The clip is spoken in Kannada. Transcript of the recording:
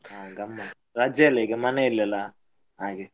ಹ ಗಮ್ಮತ್, ರಜೆ ಅಲ್ಲ ಈಗ ಮನೇಲೆ ಅಲ್ಲ ಹಾಗೆ.